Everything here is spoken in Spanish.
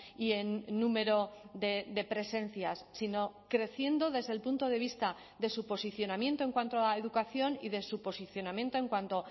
y en número de presencias sino creciendo desde el punto de vista de su posicionamiento en cuanto a educación y de su posicionamiento en cuanto